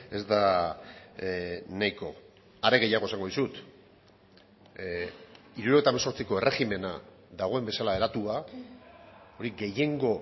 ez da nahiko are gehiago esango dizut hirurogeita hemezortziko erregimena dagoen bezala eratua hori gehiengo